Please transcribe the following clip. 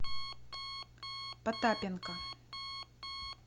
потапенко